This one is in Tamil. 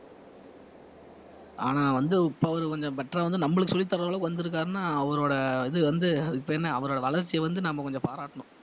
ஆனா வந்து இப்ப அவரு கொஞ்சம் better ஆ வந்து நம்மளுக்கு சொல்லித்தர அளவுக்கு வந்திருக்காருன்னா அவரோட இது வந்து அதுக்கு பேரென்ன அவரோட வளர்ச்சியை வந்து நம்ம கொஞ்சம் பாராட்டணும்